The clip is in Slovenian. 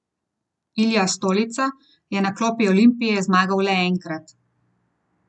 Madžari so bili v naletu in plemenitili zalogo od prve minute pa vse do prehoda v zadnjo četrtino dvoboja.